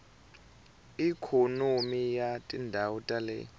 ikhonomi ya tindhawu ta le